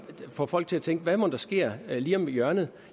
får folk til at tænke hvad mon der sker lige om hjørnet